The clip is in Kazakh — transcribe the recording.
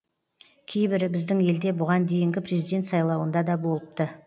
кейбірі біздің елде бұған дейінгі президент сайлауында да болыпты